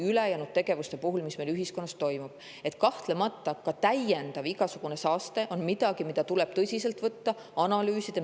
Kahtlemata, igasugune täiendav saaste on midagi, mida tuleb tõsiselt võtta ja analüüsida.